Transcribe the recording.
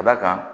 Ka d'a kan